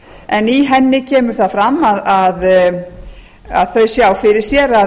en í henni kemur það fram að þau sjá fyrir sér að